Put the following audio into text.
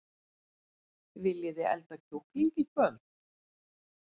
Viljiði elda kjúkling í kvöld?